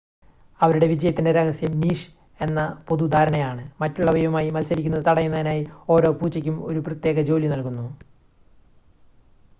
അവരുടെ വിജയത്തിൻ്റെ രഹസ്യം നീഷ് എന്ന പൊതുധാരണയാണ് മറ്റുള്ളവയുമായി മത്സരിക്കുന്നത് തടയുന്നതിനായി ഓരോ പൂച്ചയ്ക്കും ഒരു പ്രത്യേക ജോലി നൽകുന്നു